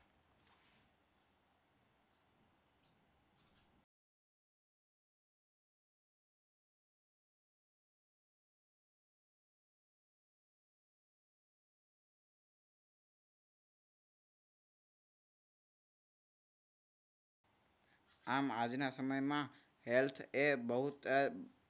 એમ આજના સમયમાં health એ બહુત